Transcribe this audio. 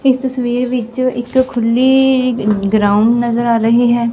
ਇਸ ਤਸਵੀਰ ਵਿੱਚ ਇੱਕ ਖੁੱਲੀ ਗਰਾਊਂਡ ਨਜ਼ਰ ਆ ਰਹੀ ਹੈ।